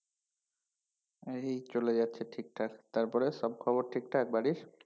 এই চলে যাচ্ছে ঠিকঠাক, তারপরে সব খবর ঠিকঠাক বাড়ির?